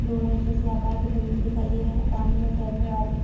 Donut जैसे आकार के बैलून दिखाई दे रहें हैं पानी में तैरने वाले।